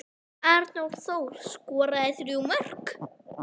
Arnór Þór skoraði þrjú mörk.